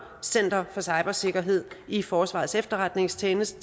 center for cybersikkerhed i forsvarets efterretningstjeneste